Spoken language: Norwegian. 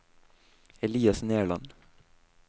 Elias Nerland